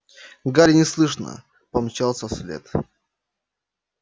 гарри неслышно помчался вслед